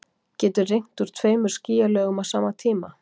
getur rignt úr tveimur skýjalögum á sama tíma